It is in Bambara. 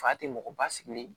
Fa tɛ mɔgɔ ba sigi